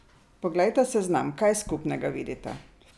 Poglejta seznam, kaj skupnega vidita?